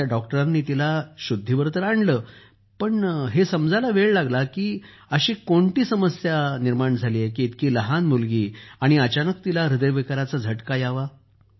तेथील ड़ॉक्टरांनी तिला पुनरूज्जीवित तर केलं पण हे समजण्यास वेळ लागला की इतकी काय समस्या आली की इतकी लहान मुलगी आणि अचानक तिला ह्रदयविकाराचा झटका आला